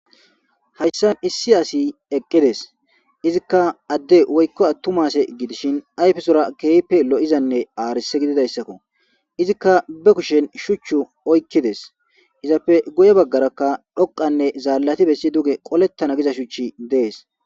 hayssan issi asi eqqides izikka adde woykko attu ma ase gidishin ayfesora keeype lo7izanne aarise gididayssakko izikka be kushen shuchchu oykkides izappe goye baggarakka dhoqanne zaallati bessi duge qolettana giza shuchi dees